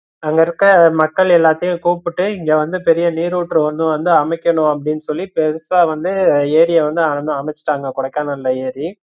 அங்க இருக்கற மக்கள் எல்லாதையும் கூப்பிட்டு இங்க வந்து பெரிய நீருற்று ஒன்னு வந்து அமைக்கணும் அப்படின்னு சொல்லி பெருசா வந்து எரிய வந்து அம~ அமசுட்டாங்க கொடைக்கானல்ல ஏரி